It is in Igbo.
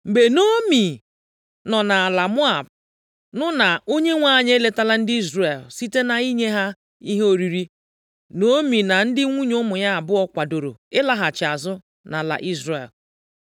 Mgbe Naomi nọ nʼala Moab nụ na Onyenwe anyị eletala ndị Izrel site nʼinye ha ihe oriri, Naomi na ndị nwunye ụmụ ya abụọ kwadoro ịlaghachi azụ nʼala Izrel.